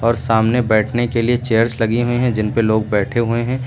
और सामने बैठने के लिए चेयर्स लगी हुई हैं जिन पे लोग बैठे हुए हैं।